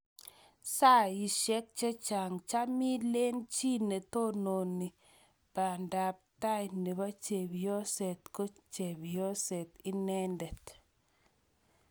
Saishek chechaang' cham ileen chi netoonooni baanda ap tai nebo chepyooseet ko chepsyooseet ineendet